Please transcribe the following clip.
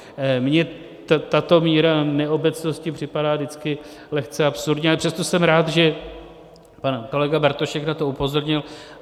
Mně tato míra neobecnosti připadá vždycky lehce absurdní, ale přesto jsem rád, že pan kolega Bartošek na to upozornil.